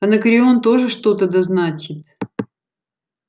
анакреон тоже что-то да значит